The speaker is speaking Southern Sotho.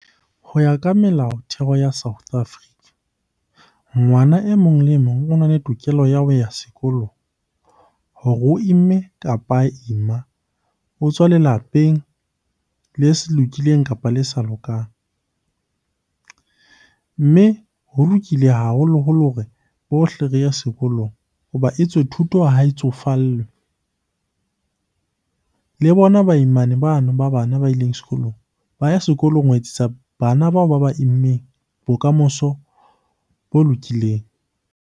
Ho ya ka melaotheo ya South Africa, ngwana emong le emong o na le tokelo ya ho ya sekolong hore o imme kapa ha ima. O tswa lelapeng le se lokileng kapa le sa lokang. Mme ho lokile haholoholo hore bohle re ye sekolong ho ba etswe thuto ha e tsofallwe. Le bona baimane bano ba bana ba ileng sekolong, ba ya sekolong ho etsetsa bana bao ba ba immeng bokamoso bo lokileng.